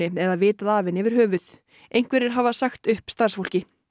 eða vitað af henni yfir höfuð einhverjir hafa sagt upp starfsfólki